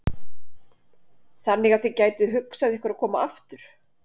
Þannig að þið gætuð hugsað ykkur að koma aftur?